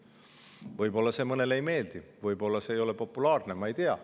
Võib-olla see mõnele ei meeldi, võib-olla see ei ole populaarne, ma ei tea.